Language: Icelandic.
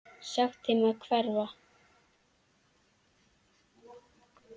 Sagt þeim að hverfa.